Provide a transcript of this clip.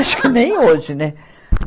Acho que nem hoje, né?